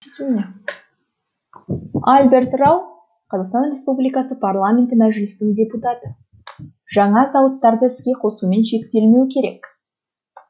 альберт рау қазақстан республикасы парламенті мәжілісінің депутаты жаңа зауыттарды іске қосумен шектелмеу керек